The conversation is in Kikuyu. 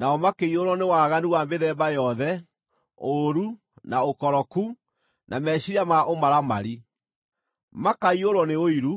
Nao makĩiyũrwo nĩ waganu wa mĩthemba yothe, ũũru, na ũkoroku, na meciiria ma ũmaramari. Makaiyũrwo nĩ ũiru,